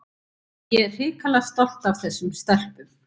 En ég er hrikalega stolt af þessum stelpum.